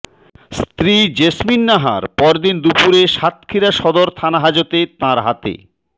স্ত্রী জেসমিন নাহার পরদিন দুপুরে সাতক্ষীরা সদর থানাহাজতে তাঁর হাতে